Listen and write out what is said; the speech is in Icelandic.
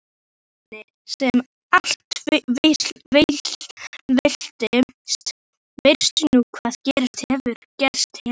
Hvernig sem allt veltist veistu nú hvað gerst hefur.